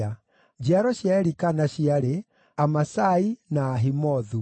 Njiaro cia Elikana ciarĩ: Amasai na Ahimothu,